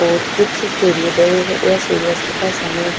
और कुछ सूर्योदय या सूर्यास्त का समय हैं।